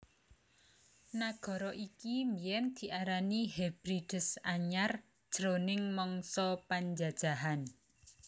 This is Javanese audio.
Nagara iki biyèn diarani Hebrides Anyar jroning mangsa panjajahan